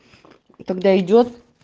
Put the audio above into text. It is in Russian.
тогда идёт